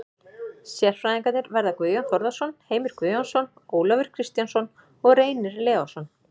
Sérfræðingarnir verða Guðjón Þórðarson, Heimir Guðjónsson, Ólafur Kristjánsson og Reynir Leósson.